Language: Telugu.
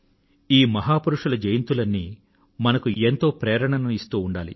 ఈ మహాపురుషుల జయంతులన్నీ మనకు ఎంతో ప్రేరణను ఇస్తూ ఉండాలి